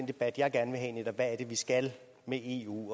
debat jeg gerne vil have netop er vi skal med eu